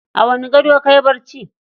A wani gado kayi bacci?